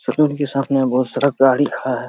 School के साथ में बहुत सारा गाड़ी खड़ा है।